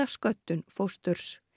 sköddun fósturs